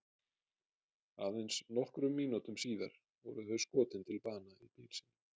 Aðeins nokkrum mínútum síðar voru þau skotin til bana í bíl sínum.